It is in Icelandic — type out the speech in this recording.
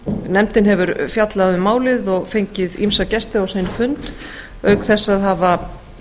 nefndin hefur fjallað um málið og fengið ýmsa gesti sinn fund auk þess að hafa